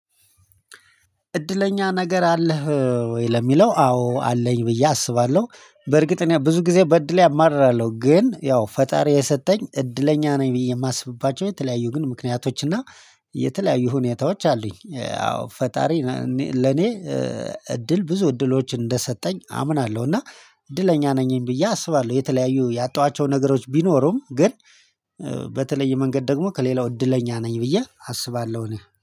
እድለኛ ነገር አለህ ወይ? ለሚለው አዎ አለኝ ብዬ አስባለሁ በርግጥ እኔ ብዙ ጊዜ በእድሌ አማርራለሁ ግን ያው ፈጣሪ የሰጠኝ እድለኛ ነኝ ብዬ የማስብባቸው የተለያዩ ግን ምክንያቶች እና የተለያዩ ሁኔታዎች አሉኝ። አዎ ፈጣሪ ለኔ እድል ብዙ እድሎች እንደሰጠኝ አምናለሁ። እና እድለኛ ነኝ ብዬ አስባለሁ። የተለያዩ ያጣኋቸው ነገሮች ቢኖሩም ግን በተለየ መንገድ ደግሞ ከሌላው እድለኛ ነኝ ብዬ አስባለሁ። እኔ